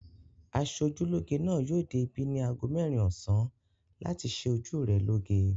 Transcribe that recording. Aṣojúlóge náà yóò dé ibí ní ago mẹ́rin ọ̀sán láti ṣe ojú rẹ lóge.